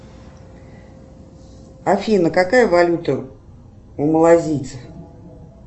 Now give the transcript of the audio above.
афина какая валюта у малазийцев